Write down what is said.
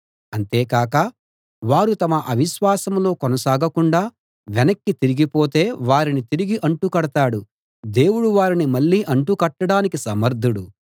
అంతేకాక వారు తమ అవిశ్వాసంలో కొనసాగకుండా వెనక్కి తిరిగితే వారిని తిరిగి అంటు కడతాడు దేవుడు వారిని మళ్ళీ అంటు కట్టడానికి సమర్ధుడు